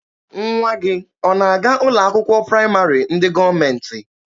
Nwa gị ọ na-aga ụlọ akwụkwọ praịmarị ndị gọọmentị?